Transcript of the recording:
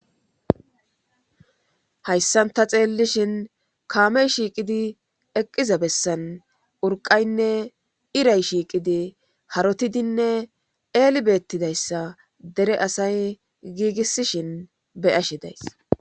Hayssanta xeellishin kaamey shiiqidi eqqiza bessan urqaynne iray shiiqidi harotidinne eeli beettidayssa dere asay giigissishin beyashedayss